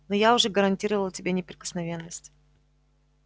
но я уже гарантировал тебе неприкосновенность